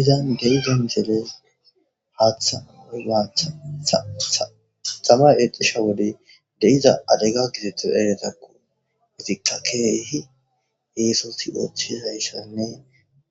izan deiza miseles haatha migaacha xama exisha wode deiza adega kisethoza ereetakko exikka keehi yeesosi othiza issanne